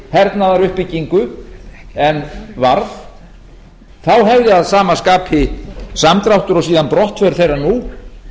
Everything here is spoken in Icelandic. hernaðaruppbyggingu en varð þá hefði að sama skapi samdráttur og síðan brottför þeirra nú